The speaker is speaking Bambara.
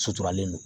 Suturalen don